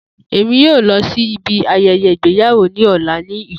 Emi yoo lọ si ibi ayẹyẹ igbeyawo ni ọla ni Ikoyi.